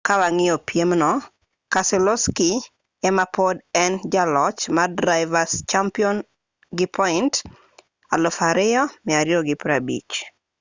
ka wang'iyo piem no keselowski ema pod en jaloch mar driver's champion gi point 2,250